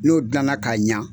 N'o dilanna ka ɲa